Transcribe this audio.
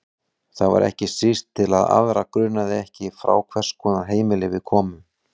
Það var ekki síst til að aðra grunaði ekki frá hvers konar heimili við komum.